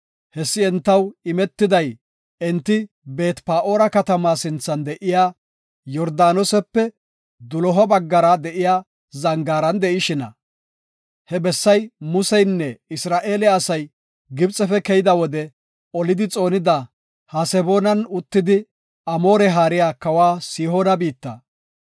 Hessi entaw imetiday enti Beet-Pa7oora katamaa sinthan de7iya Yordaanosepe doloha baggara de7iya zangaaran de7ishina. He bessay Museynne Isra7eele asay Gibxefe keyida wode olidi xoonida, Haseboonan uttidi Amoore haariya kawa Sihoona biitta.